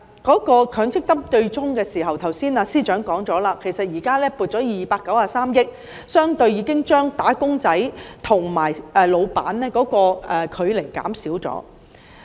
至於強積金對沖機制，正如司長剛才所說，現時已撥出293億元，相對地已經將"打工仔"和僱主的距離縮短。